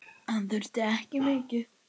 Hann þurfti ekki mikið.